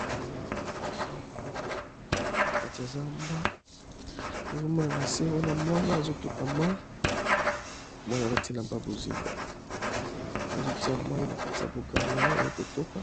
Nazomona nzete nzete etelemi nakati ya zamba nazomona nase wana mwana azotoka mai mwana alati elamba yabozinga azo tiya mai nakati ya bukale naye aye kotoka